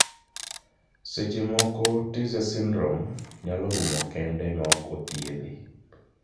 Seche moko Tietze syndrome ,nyalo rumo kende ma ok othiedhe.